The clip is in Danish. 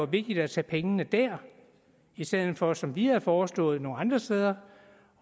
vigtigt at tage pengene der i stedet for som vi havde foreslået nogle andre steder